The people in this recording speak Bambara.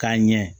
K'a ɲɛ